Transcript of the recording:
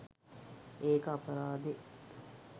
ඒක අපරාදෙ